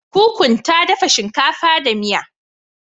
Kukun ta dafa shinkafa da miya.